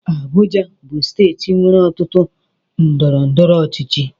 Abuja bụ steeti nwere ọtụtụ ọrụ ndọrọndọrọ ọchịchị.